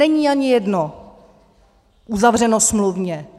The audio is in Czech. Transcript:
Není ani jedno uzavřeno smluvně.